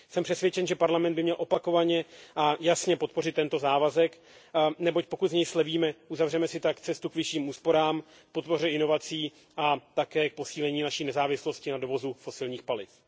Jsem přesvědčen, že Parlament by měl opakovaně a jasně podpořit tento závazek, neboť pokud z něj slevíme, uzavřeme si tak cestu k vyšším úsporám, k podpoře inovací a také k posílení naší nezávislosti na dovozu fosilních paliv.